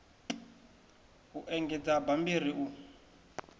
u engedza ha bammbiri u